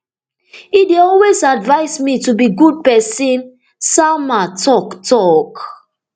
e dey always advise me to be good pesin salma tok tok